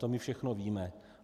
To my všechno víme.